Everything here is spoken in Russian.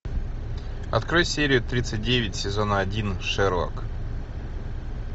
открой серию тридцать девять сезона один шерлок